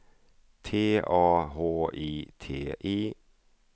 T A H I T I